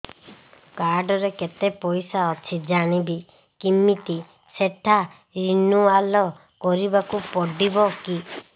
card ରେ କେତେ ପଇସା ଅଛି ଜାଣିବି କିମିତି ସେଟା ରିନୁଆଲ କରିବାକୁ ପଡ଼ିବ କି